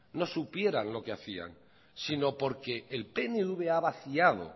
no supieran lo que hacía si no porque el pnv ha vaciado